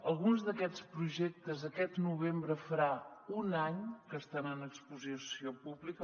alguns d’aquests projectes aquest novembre farà un any que estan en exposició pública